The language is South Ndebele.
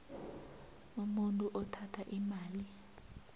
umuntu othatha imali